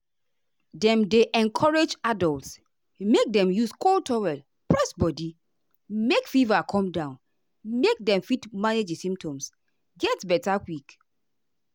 dem dey encourage adults make dem use cold towel press body make fever come down make dem fit manage di symptoms symptoms get beta quick.